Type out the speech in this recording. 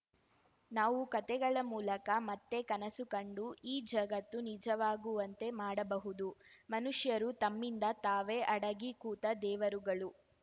ನಾವು ಕತೆಗಳ ಮೂಲಕ ಮತ್ತೆ ಕನಸುಕಂಡು ಈ ಜಗತ್ತು ನಿಜವಾಗುವಂತೆ ಮಾಡಬಹುದು ಮನುಷ್ಯರು ತಮ್ಮಿಂದ ತಾವೇ ಅಡಗಿ ಕೂತ ದೇವರುಗಳು